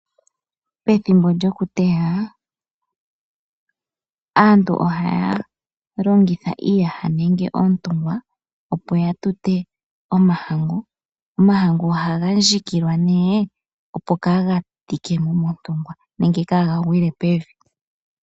Pethimbo lyokuteya aantu ohaya longitha iiyaha nenge oontungwa opo ya tute omahangu. Omahangu ohaga ndjikilwa nee opo kaa ga tike mo montungwa nenge kaa ga gwile pevi.